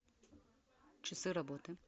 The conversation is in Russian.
часы работы